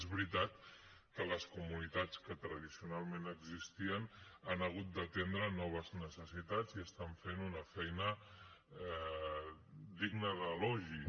és veritat que les comunitats que tradicionalment existien han hagut d’atendre noves necessitats i estan fent una feina digna d’elogi